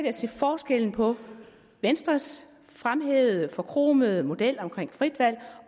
at se forskellen på venstres fremhævede forkromede model om frit valg